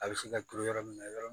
A bɛ se ka turu yɔrɔ min na yɔrɔ min